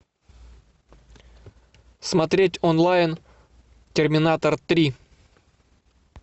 смотреть онлайн терминатор три